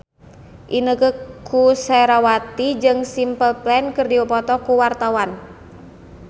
Inneke Koesherawati jeung Simple Plan keur dipoto ku wartawan